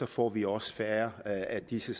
får vi også færre af disse